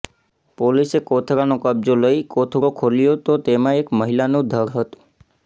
પોલીસે કોથળાનો કબજો લઈ કોથળો ખોલ્યો તો તેમાં એક મહિલાનું ધડ હતું